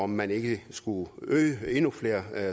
man ikke skulle indføre endnu flere